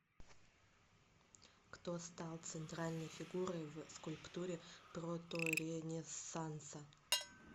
кто стал центральной фигурой в скульптуре проторенессанса